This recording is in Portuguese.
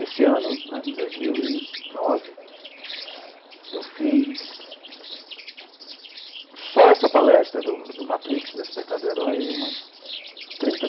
Esse ano né, em dois mil e nove, eu fiz só essa palestra do do Matrix, Despertar do Herói, umas trinta